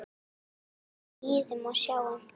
Við bíðum og sjáum.